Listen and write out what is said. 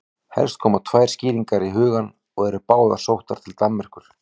Helst koma tvær skýringar í hugann og eru báðar sóttar til Danmerkur.